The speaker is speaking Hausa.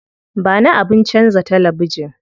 Ba ni abin canza talabijin.